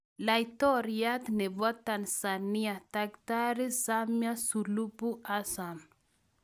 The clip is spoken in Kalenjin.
Laitoriot nebo tanzania ,takitari Samia sulubu Hassan